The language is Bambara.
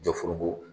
Jɔ foroko